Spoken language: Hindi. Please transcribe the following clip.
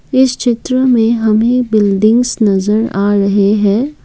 इस चित्र में हमें बिल्डिंग्स नजर आ रहे हैं।